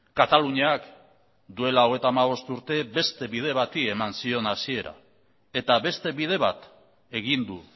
kataluniak duela hogeita hamabost urte beste bide bati eman zion hasiera eta beste bide bat egin du